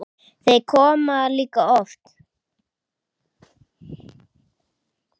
Þau koma líka of oft.